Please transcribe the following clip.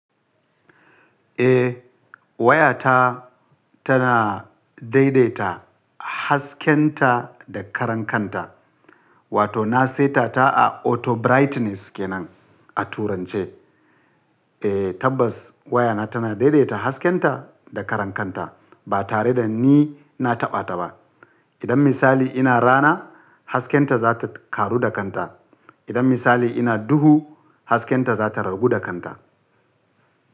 Eh wayata tana daidaita hasken ta da karan kanta wato na saita ta a auto brightness kenan a turance. Eh tabbas wayana tana daidaita hasken ta da karan kanta ba tare da ni na taɓa ta ba. Idan misali ina rana hasken ta za ta ƙaru da kanta. Idan misali ina duhu hasken ta za ta ragu da kanta.